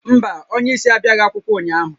Mba, onye isi abịaghị akwụkwọ ụnyaahụ